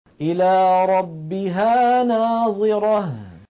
إِلَىٰ رَبِّهَا نَاظِرَةٌ